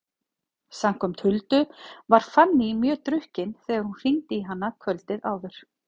Samkvæmt Huldu var Fanný mjög drukkin þegar hún hringdi í hana kvöldið áður.